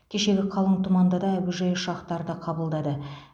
кешегі қалың тұманда да әуежай ұшақтарды қабылдады